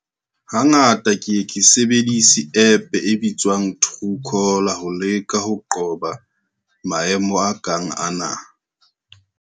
Hangata ke ye ke sebedise app e bitswang True caller ho leka ho qoba maemo a kang ana.